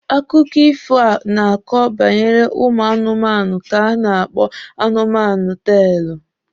Akụkọ ifo a na-akọ banyere ụmụ anụmanụ ka a na-akpọ anụmanụ teelụ.